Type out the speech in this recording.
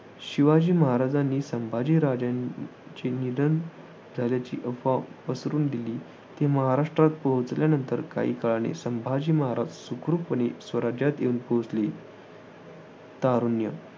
शिवाजी महाराजांनी संभाजीराजांचे निधन झाल्याची अफवा पसरवून दिली. ते महाराष्ट्रात पोहोचल्यानंतर काही काळाने संभाजी महाराज सुखरूपपणे स्वराज्यात येऊन पोहोचले. तारुण्य